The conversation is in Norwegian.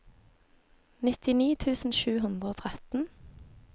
nittini tusen sju hundre og tretten